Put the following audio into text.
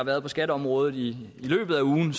været på skatteområdet i løbet af ugen